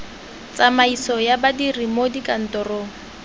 tsamaiso ya badiri mo dikantorong